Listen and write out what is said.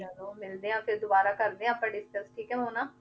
ਚਲੋ ਮਿਲਦੇ ਹਾਂ ਫਿਰ ਦੁਬਾਰਾ ਕਰਦੇ ਹਾਂ ਆਪਾਂ discuss ਠੀਕ ਹੈ ਮੋਨਾ,